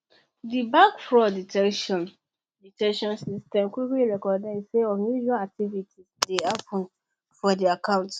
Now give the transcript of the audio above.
di bank fraud detection detection system quickly recognise say unusual activity dey happen for di account